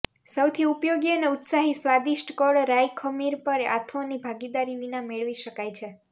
સૌથી ઉપયોગી અને ઉત્સાહી સ્વાદિષ્ટ કળ રાઈ ખમીર પર આથોની ભાગીદારી વિના મેળવી શકાય છે